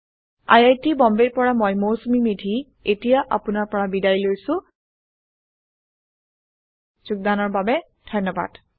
I I T Bombay ৰ পৰা মই মৌচুমী মেধী এতিয়া আপুনাৰ পৰা বিদায় লৈছো যোগদানৰ বাবে ধন্যবাদ